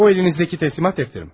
O əlinizdəki təhvil-təslim dəftəridir.